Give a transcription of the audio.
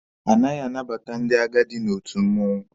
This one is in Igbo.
Anaghị anabata ndị agadi n'otu mmụọnwụ.